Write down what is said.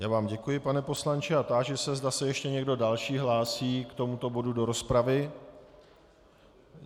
Já vám děkuji, pane poslanče, a táži se, zda se ještě někdo další hlásí k tomuto bodu do rozpravy.